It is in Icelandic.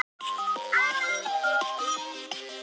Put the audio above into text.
Hann segir:.